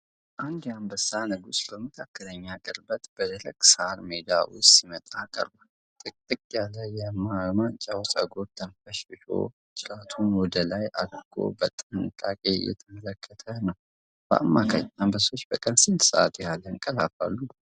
አንድ የአንበሳ ንጉሥ በመካከለኛ ቅርበት በደረቅ ሳር ሜዳ ውስጥ ሲመጣ ቀርቧል። ጥቅጥቅ ያለ የማንጫው ፀጉር ተንፈሽፍሾ ጅራቱን ወደ ላይ አድርጎ በጥንቃቄ እየተመለከተ ነው። በአማካኝ አንበሶች በቀን ስንት ሰዓት ያህል ያንቀላፋሉ?